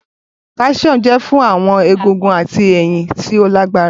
Calcium jẹ fun awọn egungun ati eyin ti o lagbara